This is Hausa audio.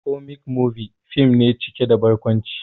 "Comic movie" fim ne cike da barkwanci